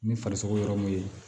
Ni farisogo yɔrɔ mun ye